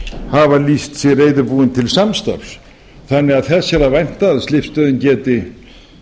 hafa lýst sig reiðubúin til samstarfs þannig að þess er að vænta að slippstöðin geti